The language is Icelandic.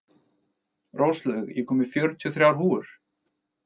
Róslaug, ég kom með fjörutíu og þrjár húfur!